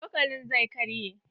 Cokalin zai karye.